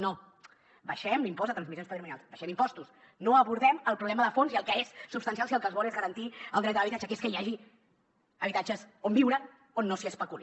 no abaixem l’impost de transmissions patrimonials abaixem impostos no abordem el problema de fons i el que és substancial si el que es vol és garantir el dret a l’habitatge que és que hi hagi habitatges on viure on no s’especuli